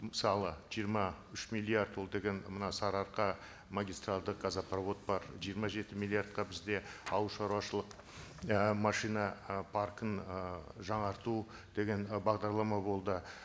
мысалы жиырма үш миллиард ол деген мына сары арқа магистральдік газопровод бар жиырма жеті миллиардқа бізде ауыл шаруашылық і машина ы паркін ыыы жаңарту деген і бағдарлама болды